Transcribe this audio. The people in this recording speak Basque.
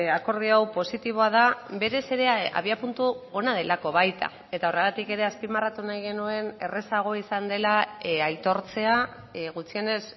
akordio hau positiboa da berez ere abiapuntu ona delako baita eta horregatik ere azpimarratu nahi genuen errazago izan dela aitortzea gutxienez